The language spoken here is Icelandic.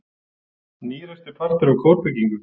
Nýreistur partur af kórbyggingu